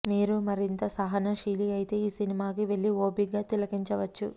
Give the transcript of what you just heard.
మీరు మరింత సహన శీలి అయితే ఈ సినిమాకి వెళ్లి ఓపిగ్గా తిలకించవచ్చు